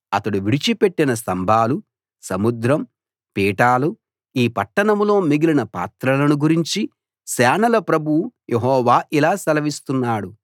అతడు విడిచి పెట్టిన స్థంభాలు సముద్రం పీఠాలు ఈ పట్టణంలో మిగిలిన పాత్రలను గురించి సేనల ప్రభువు యెహోవా ఇలా సెలవిస్తున్నాడు